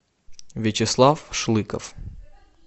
вячеслав шлыков